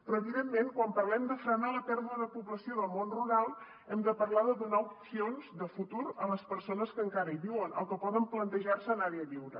però evidentment quan parlem de frenar la pèrdua de població del món rural hem de parlar de donar opcions de futur a les persones que encara hi viuen o que poden plantejar se anar hi a viure